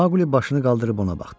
Mauqli başını qaldırıb ona baxdı.